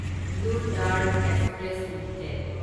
blue Dart Express limited